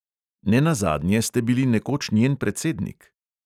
Ne nazadnje ste bili nekoč njen predsednik.